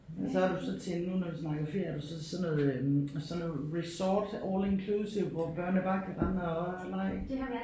Men så er du så til nu når vi snakker ferie er du så til sådan noget øh sådan noget resort all inclusive hvor børnene bare kan rende og lege?